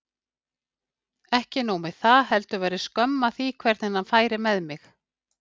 Ekki nóg með það, heldur væri skömm að því hvernig hann færi með mig.